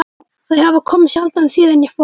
Þau hafa komið sjaldan síðan ég fór.